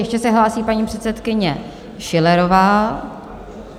Ještě se hlásí paní předsedkyně Schillerová.